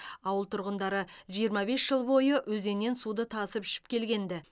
ауыл тұрғындары жиырма бес жыл бойы өзеннен суды тасып ішіп келген ді